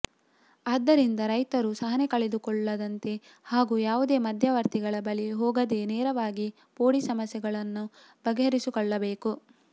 ಆದ್ದರಿಂದ ರೈತರು ಸಹನೆ ಕಲೆದುಕೊಳ್ಳದಂತೆ ಹಾಗೂ ಯಾವುದೇ ಮಧ್ಯವರ್ತಿಗಳ ಬಳಿ ಹೋಗದೇ ನೇರವಾಗಿ ಪೋಡಿ ಸಮಸ್ಯೆಗಳನ್ನು ಬಗೆಹರಿಸಿಕೊಳ್ಳಬೇಕು